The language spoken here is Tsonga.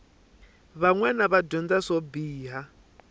vanwana va dyondza swo biha